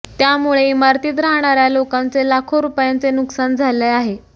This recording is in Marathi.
त्यामुळे इमारतीत राहणाऱ्या लोकांचे लाखो रुपयांचे नुकसान झाले आहे